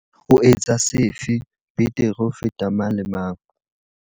O etsa sefe betere ho feta mang le mang?